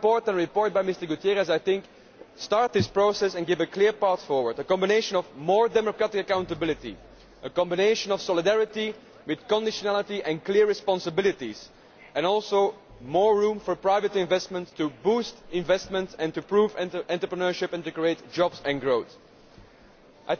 My report and the report by MrGutiérrez Prieto start this process and provide a clear path forward a combination of more democratic accountability, a combination of solidarity with conditionality and clear responsibilities, and also more room for private investment, to boost investment and to improve entrepreneurship and create jobs and growth.